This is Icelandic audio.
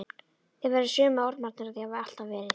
Þið verðið sömu ormarnir og þið hafið alltaf verið.